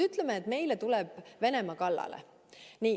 Ütleme, et Venemaa tuleb meile kallale.